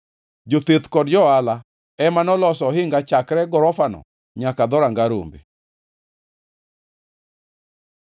Jotheth kod jo-ohala ema noloso ohinga chakre gorofano nyaka Dhoranga Rombe.